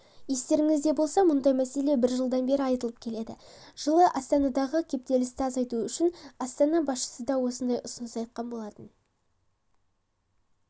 естеріңізде болса мұндай мәселе бір жылдан бері айтылып келеді жылы астанадағы кептілісті азайту үшін астана басшысы да осындай ұсыныс айтқан болатын